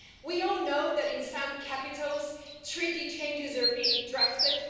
We all know that, in some capitals, treaty changes are being drafted.